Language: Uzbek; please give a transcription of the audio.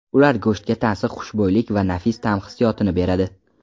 Ular go‘shtga tansiq xushbo‘ylik va nafis ta’m hissiyotini beradi.